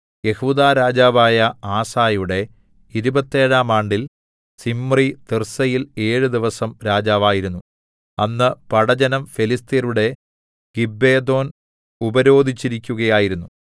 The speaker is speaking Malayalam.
യെഹൂദാ രാജാവായ ആസയുടെ ഇരുപത്തേഴാം ആണ്ടിൽ സിമ്രി തിർസ്സയിൽ ഏഴു ദിവസം രാജാവായിരുന്നു അന്ന് പടജ്ജനം ഫെലിസ്ത്യരുടെ ഗിബ്ബെഥോൻ ഉപരോധിച്ചിരിക്കയായിരുന്നു